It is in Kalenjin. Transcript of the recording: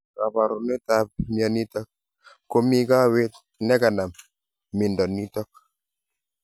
kabarunet ap mionitok �ko bee kaweet neganam. mindo nitok.